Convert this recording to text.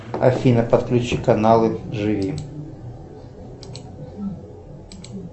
афина подключи каналы живи